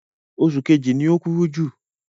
Oṣù kejì ni o kúrú jù.